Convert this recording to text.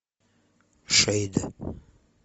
шейд